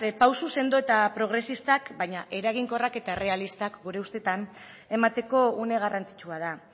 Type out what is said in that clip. pausu sendo eta progresistak baina eraginkorra eta errealistak gure ustetan emateko une garrantzitsua da